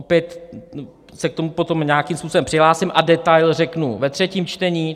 Opět se k tomu potom nějakým způsobem přihlásím a detail řeknu ve třetím čtení.